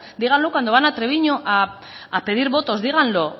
díganlo cuando van a treviño a pedir votos díganlo